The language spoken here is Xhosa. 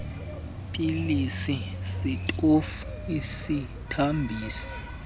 pilisi sitofu isithambiso